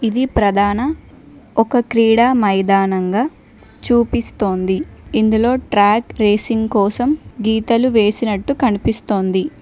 ఇది ప్రధాన ఒక క్రీడా మైదానంగా చూపిస్తోంది ఇందులో ట్రాక్ రేసింగ్ కోసం గీతలు వేసినట్టు కనిపిస్తోంది.